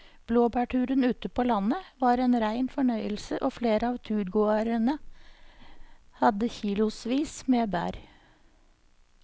Blåbærturen ute på landet var en rein fornøyelse og flere av turgåerene hadde kilosvis med bær.